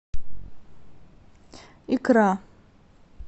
икра